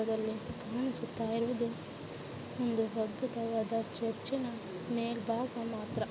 ಈ ಚಿತ್ರದಲ್ಲಿ ಕಾಣಿಸುತ್ತಾ ಇರುವುದು ಒಂದು ಅದ್ಭುತವಾದ ಚರ್ಚ್ ಮೇಲ್ಭಾಗ ಮಾತ್ರ--